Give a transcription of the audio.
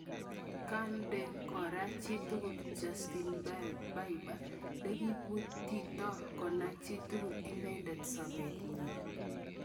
Kondekoker chitugul Justin Bieber lekibutito konai chitugul inendet sobet nyin.